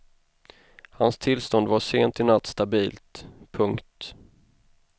Hans tillstånd var sent i natt stabilt. punkt